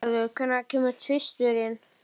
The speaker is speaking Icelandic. Geirarður, hvenær kemur tvisturinn?